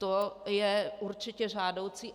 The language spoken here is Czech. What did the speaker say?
To je určitě žádoucí.